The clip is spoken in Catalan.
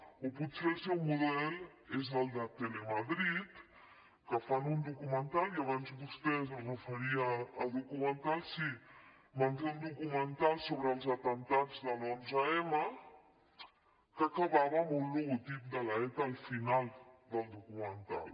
o potser el seu model és el de telemadrid en què fan un documental i abans vostè es referia a documentals sí van fer un documental sobre els atemptats de l’onze m que acabava amb un logotip de l’eta al final del documental